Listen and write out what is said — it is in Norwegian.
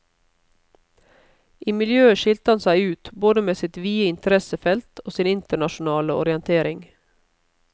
I miljøet skilte han seg ut både med sitt vide interessefelt og sin internasjonale orientering.